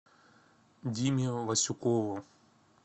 диме васюкову